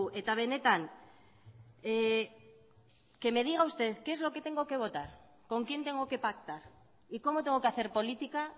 eta benetan que me diga usted qué es lo que tengo que votar con quién tengo que pactar y cómo tengo que hacer política